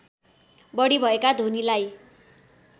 बढी भएका ध्वनिलाई